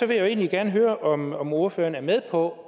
vil jeg egentlig gerne høre om om ordføreren er med på at